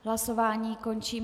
Hlasování končím.